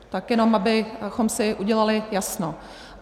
Tak jenom abychom si udělali jasno.